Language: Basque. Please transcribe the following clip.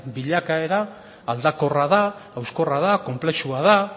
bilakaera aldakorra da hauskorra da konplexua da